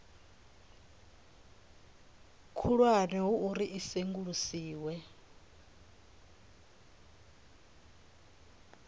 khulwane ho uri a sengulusiwe